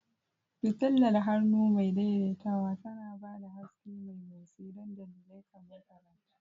Fitilar hannu mai daidaitawa tana ba da haske mai motsi don dalilai kamar karatu.